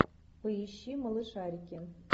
поищи малышарики